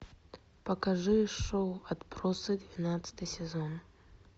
покажи шоу отбросы двенадцатый сезон